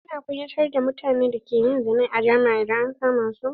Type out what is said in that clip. Ana kunyatar da mutanen da ke zina ne a jama'a idan an kama su.